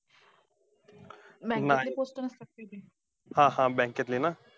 नाही. हा हा, bank त ले ना?